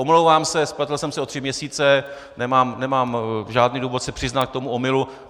Omlouvám se, spletl jsem se o tři měsíce, nemám žádný důvod se nepřiznat k tomu omylu.